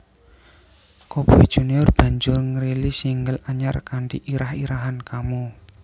Coboy Junior banjur ngrilis single anyar kanthi irah irahan Kamu